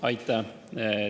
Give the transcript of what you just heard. Aitäh!